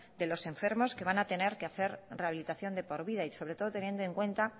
de los enfermos que van a tener que hacer rehabilitación de por vida y sobre todo teniendo en cuenta